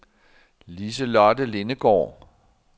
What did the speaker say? Lise-Lotte Lindegaard